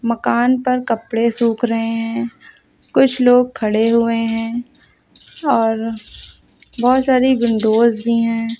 मकान पर कपड़े सूख रहे हैं कुछ लोग खड़े हुये हैं और बहोत सारी विंडोज भी हैं।